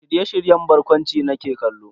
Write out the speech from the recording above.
Shirye-shiryen barkwanci nake kallo.